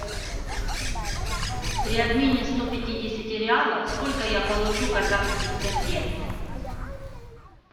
при обмене сто пятидесяти реалов сколько я получу казахских тенге